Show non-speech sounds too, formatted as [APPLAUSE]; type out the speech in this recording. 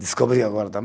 Descobriu agora [UNINTELLIGIBLE]